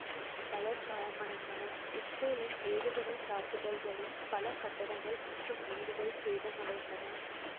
பலர் காயமடைந்தனர் இசுரேலின் ஏவுகணை தாக்குதல்களில் பல கட்டடங்கள் மற்றும் வீடுகள் சேதமடைந்தன